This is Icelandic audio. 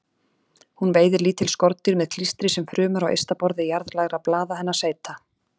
Hún veiðir lítil skordýr með klístri sem frumur á ysta borði jarðlægra blaða hennar seyta.